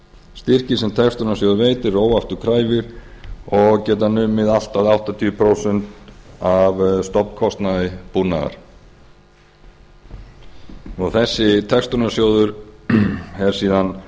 styrkir sem textunarsjóður veitir eru óafturkræfir og geta numið allt að áttatíu prósent af stofnkostnaði búnaðar það er síðan